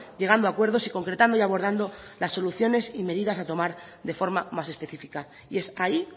llegando a acuerdos y concretando y abordando las soluciones y medidas a tomar de forma más específica y es ahí